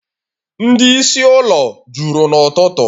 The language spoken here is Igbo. Ndị isi ụlọ ọrụ juru n'ụtụtụ